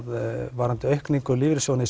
varðandi aukningu lífeyrissjóðsins